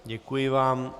Děkuji vám.